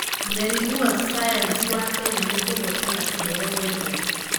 Mearimũwa cayanici wa Kenya nĩ kũhotana kĩheo gĩa thĩ.